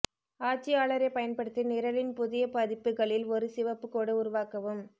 ஆட்சியாளரைப் பயன்படுத்தி நிரலின் புதிய பதிப்புகளில் ஒரு சிவப்பு கோடு உருவாக்கவும்